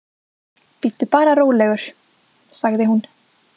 Bíddu bara rólegur, sagði hún.